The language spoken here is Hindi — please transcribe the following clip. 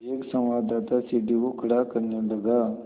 एक संवाददाता सीढ़ी को खड़ा करने लगा